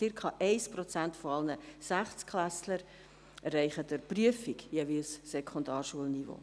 Circa 1 Prozent aller Sechstklässler erreicht durch Prüfung jeweils das Sekundarschulniveau.